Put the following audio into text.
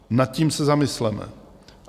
Nad tím se zamysleme.